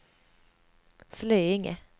Slöinge